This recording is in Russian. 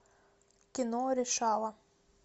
кино решала